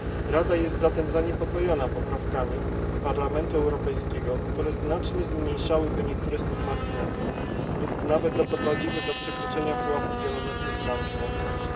Rada jest zatem zaniepokojona poprawkami Parlamentu Europejskiego, które znacznie zmniejszałyby niektóre z tych marginesów lub nawet doprowadziły do przekroczenia pułapu wieloletnich ram finansowych.